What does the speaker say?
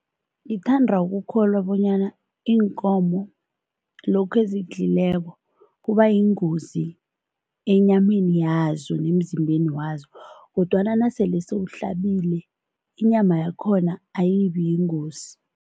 Ngithanda ukukholwa bonyana iinkomo lokhu ezikudlulileko, kuba yingozi enyameni yazo nemzimbeni wazo kodwana nasele sewuhlabile, inyama yakhona ayibi yingozi.